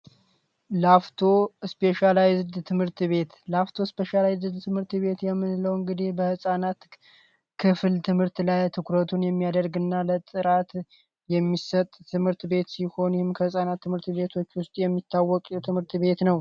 ትምህርት ቤት ላፍቶ ትምህርት ቤት የምንለው እንግዲ በህፃናት ክፍል ትምህርት ላይ ትኩረቱን የሚያደርግና ለጥራት የሚሰጥ ትምህርት ቤት ሲሆኑም ትምህርት ቤቶች ከህፃናት ትምርት ቤትዎች ውስጥ ነው።